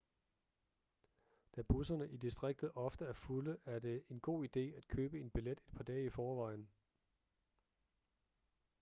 da busserne i distriktet ofte er fulde er det en god ide at købe en billet et par dage i forvejen